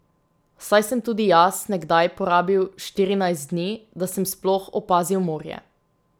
Saj sem tudi jaz nekdaj porabil štirinajst dni, da sem sploh opazil morje.